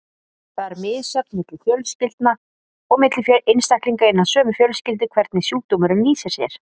Það er misjafnt milli fjölskylda og milli einstaklinga innan sömu fjölskyldu hvernig sjúkdómurinn lýsir sér.